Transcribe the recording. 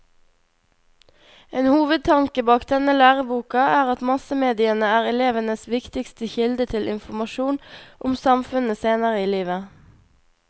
En hovedtanke bak denne læreboka er at massemediene er elevenes viktigste kilde til informasjon om samfunnet senere i livet.